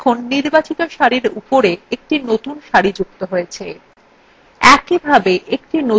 দেখুন নির্বাচিত সারির উপরে একটি নতুন সারি যুক্ত হয়েছে